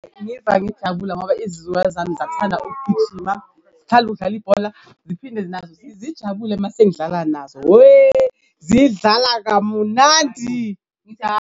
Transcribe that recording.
Ngiva ngijabula ngoba izizukulwane zami ziyakuthanda ukugijima, zithanda ukudlala ibhola ziphinde nazo zijabule mase ngidlala nazo. Weh, zidlala kamunandi .